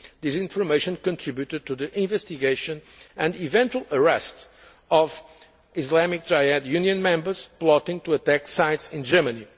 This information contributed to the investigation and eventual arrest of Islamic Jihad Union members who were plotting to attack sites in Germany.